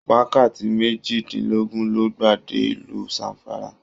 Wákàtí mejidinlogun lo gba dé ìlú Zamfara.